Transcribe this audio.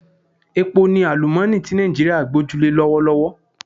Epo ni àlúmooni ti Nàìjíríà gboju le lọ́wọ́lọ́wọ́